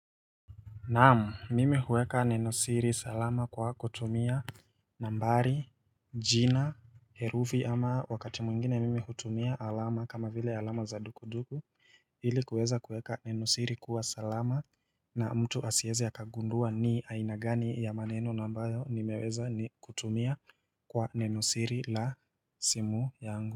Naam, mimi huweka nenosiri salama kwa kutumia nambari, jina, herufi ama wakati mwingine mimi hutumia alama kama vile alama za duku duku ili kuweza kueka nenosiri kuwa salama na mtu asieze akagundua ni aina gani ya maneno nambayo nimeweza kutumia kwa nenosiri la simu yangu.